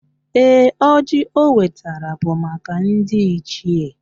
Ee, ọjị o wetara bụ maka ndị Ichie